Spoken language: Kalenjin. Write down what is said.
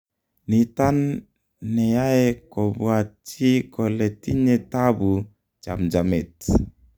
nitan neyae kobwat chi kole tinye tabu chamjamet